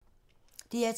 DR2